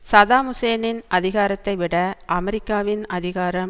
Saddam ஹூசேனின் அதிகாரத்தை விட அமெரிக்காவின் அதிகாரம்